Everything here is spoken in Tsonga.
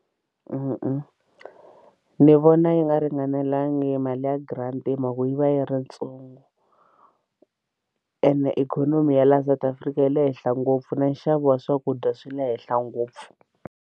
Ni vona yi nga ringanelangi mali ya grant hi mhaka ku yi va yi ri ntsongo ene ikhonomi ya laha South Africa yi le henhla ngopfu na nxavo wa swakudya swi le henhla ngopfu.